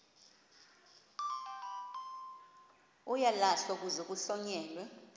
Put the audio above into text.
uyalahlwa kuze kuhlonyelwe